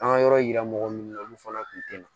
An ka yɔrɔ yira mɔgɔ minnu na olu fana tun tɛ na